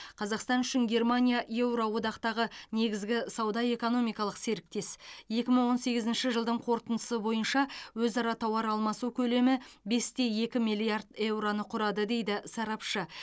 қазақстан үшін германия еуроодақтағы негізгі сауда экономикалық серіктес екі мың он сегізінші жылдың қорытындысы бойынша өзара тауар алмасу көлемі бес те екі миллиард еуроны құрады дейді сарапшы